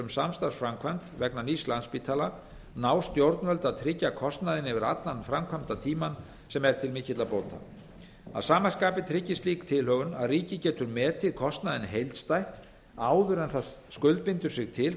samstarfsframkvæmd vegna nýs landspítala ná stjórnvöld að tryggja kostnaðinn yfir allan framkvæmdatímann sem er til mikilla bóta að sama skapi tryggir slík tilhögun að ríkið getur metið kostnaðinn heildstætt áður en það skuldbindur sig til